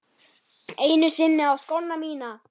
Einu sinni á skóna mína.